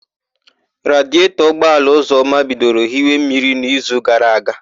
Radietọ ụgbọala Ụzọma bidoro íhi mmiri n'ízù gara aga.